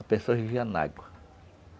A pessoa vivia na água.